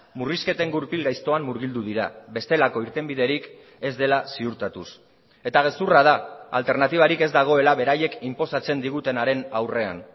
murrizketen gurpil gaiztoan murgildu dira bestelako irtenbiderik ez dela ziurtatuz eta gezurra da alternatibarik ez dagoela beraiek inposatzen digutenaren aurrean